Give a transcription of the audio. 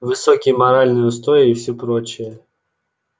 высокие моральные устои и всё прочее